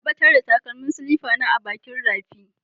Na ɓatar da takalmin silifa na bakin rafi.